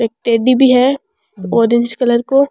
एक टेडी भी है ऑरेंज कलर को।